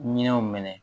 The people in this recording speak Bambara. Minɛnw minɛ